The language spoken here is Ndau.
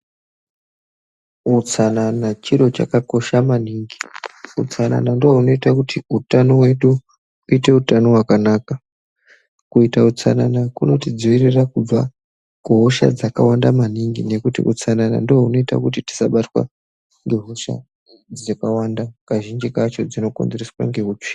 Utsanana chiro chakakosha maningi , utsanana ndiwo unoita kuti utano vedu uite utano wakanaka, kuita utsanana kunotidziwiwira kubva kuhosha dzakawanda maningi nekuti utsanana ndiwo unoita kuti tisabatwa nehosha dzakawanda kazvinji kacho kazvinji kacho dzinokonzereswa neutsvina.